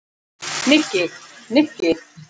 Nikki, Nikki!